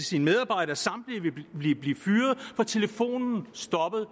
sine medarbejdere samtlige vil blive fyret for telefonen stoppede